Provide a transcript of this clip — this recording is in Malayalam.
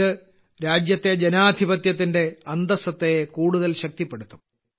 ഇത് രാജ്യത്തെ ജനാധിപത്യത്തിന്റെ അന്തസത്തയെ കൂടുതൽ ശക്തിപ്പെടുത്തും